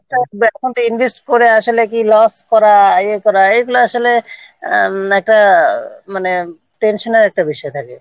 এখন তো Invest করে এখন তো loss করা এগুলো আসলে উম একটা মানে Tension-র একটা বিষয় হয়ে দাঁড়ায়